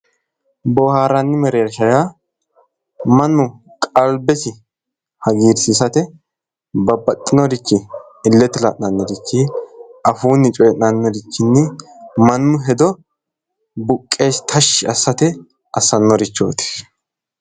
boohaarranni mereersha yaa mannu qalbesi hagiirsiisate babbaxinorichi illete la'nannirichi afuunni coyii'nannirichinni mannu hedo buqqeesi tashshi assate assate assannorichooti.